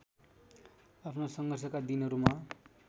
आफ्ना सङ्घर्षका दिनहरूमा